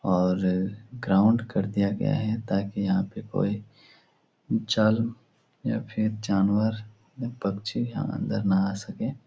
और ग्राउन्ड कर दिया गया है ताकि यहाँ पे कोई चल या फिर जानवर पक्षी अंदर ना आ सके |